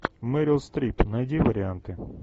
мэрил стрип найди варианты